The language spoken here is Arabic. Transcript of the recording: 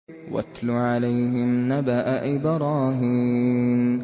وَاتْلُ عَلَيْهِمْ نَبَأَ إِبْرَاهِيمَ